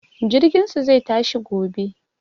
Jirginsu zai tashi gobe.